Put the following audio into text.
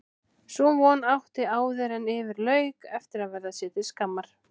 Sú von átti áðuren yfir lauk eftir að verða sér til skammar.